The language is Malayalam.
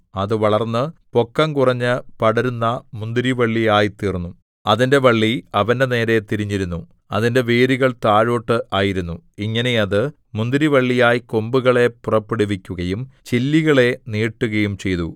അത് വളർന്ന് പൊക്കം കുറഞ്ഞ് പടരുന്ന മുന്തിരിവള്ളിയായിത്തീർന്നു അതിന്റെ വള്ളി അവന്റെനേരെ തിരിഞ്ഞിരുന്നു അതിന്റെ വേരുകൾ താഴോട്ട് ആയിരുന്നു ഇങ്ങനെ അത് മുന്തിരിവള്ളിയായി കൊമ്പുകളെ പുറപ്പെടുവിക്കുകയും ചില്ലികളെ നീട്ടുകയും ചെയ്തു